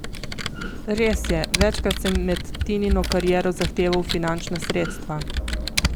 Res je, večkrat sem med Tinino kariero zahteval finančna sredstva.